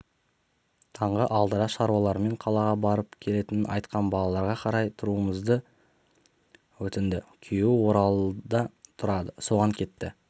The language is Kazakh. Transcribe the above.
таңғы алтыда шаруаларымен қалаға барып келетінін айтқан балаларға қарай тұруымызды өтінді күйеуі оралда тұрады соған кетті